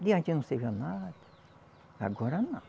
De antes não servia nada, agora não.